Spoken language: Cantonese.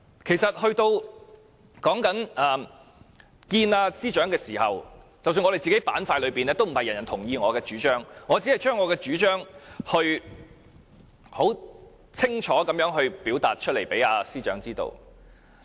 其實在面見司長的時候，我們陣營內也不是每一位都同意我的主張，我只是將自己的主張清楚地表達給司長知道。